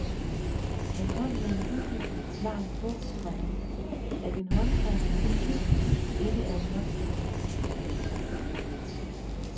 Han kom med en uddybende forklaring på, komma at en håndskreven notits ikke er en håndskreven notits. punktum